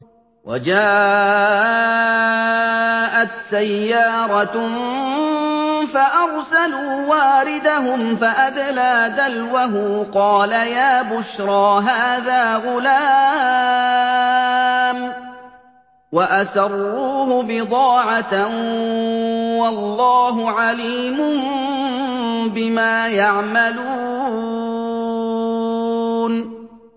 وَجَاءَتْ سَيَّارَةٌ فَأَرْسَلُوا وَارِدَهُمْ فَأَدْلَىٰ دَلْوَهُ ۖ قَالَ يَا بُشْرَىٰ هَٰذَا غُلَامٌ ۚ وَأَسَرُّوهُ بِضَاعَةً ۚ وَاللَّهُ عَلِيمٌ بِمَا يَعْمَلُونَ